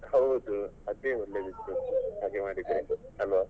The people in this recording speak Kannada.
ಹೌದು ಅದೇ ಒಳ್ಳೆದಿತ್ತು ಹಾಗೆ ಮಾಡಿದ್ರೆ ಆಯ್ತು ಅಲ್ವಾ.